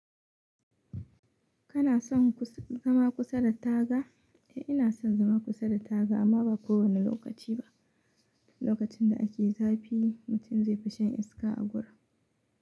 Kana son zama kusa da taga? Eh ina son zama kusa da taga amma ba kowane lokaci ba. Lokacin da ake zafi, mutum zai fi shan iska a gurin.